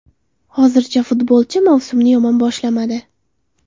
Hozircha futbolchi mavsumni yomon boshlamadi.